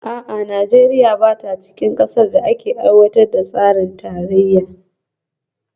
A'a, Najeriya ba ta cikin kasar da ake aiwatar da tsarin tarayya?